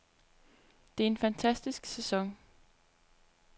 Det er en fantastisk sæson.